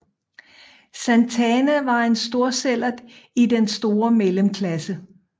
Santana var en storsællert i den store mellemklasse